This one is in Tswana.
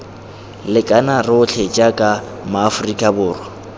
lekana rotlhe jaaka maaforika borwa